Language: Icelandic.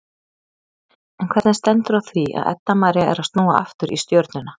En hvernig stendur á því að Edda María er að snúa aftur í Stjörnuna?